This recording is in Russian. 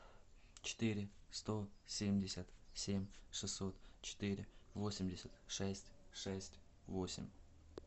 четыре сто семьдесят семь шестьсот четыре восемьдесят шесть шесть восемь